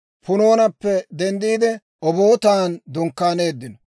Punoonappe denddiide, Obootan dunkkaaneeddino.